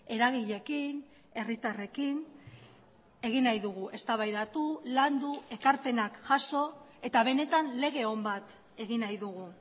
eragileekin herritarrekin egin nahi dugu eztabaidatu landu ekarpenak jaso eta benetan lege on bat egin nahi dugu